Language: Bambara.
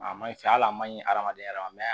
A ma ɲi fɛ al'a ma ɲi hadamaden yɛrɛ ma